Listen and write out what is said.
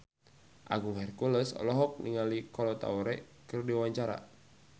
Agung Hercules olohok ningali Kolo Taure keur diwawancara